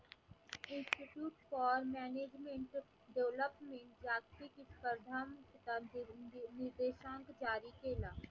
institute for management, development जागतिक जारी केला.